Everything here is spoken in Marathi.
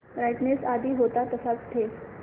ब्राईटनेस आधी होता तसाच ठेव